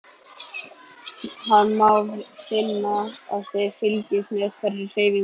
Hann má finna að þið fylgist með hverri hreyfingu hans.